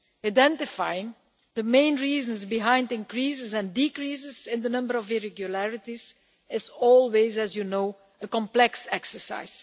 Identifying the main reasons behind increases and decreases in the number of irregularities is always, as you know, a complex exercise.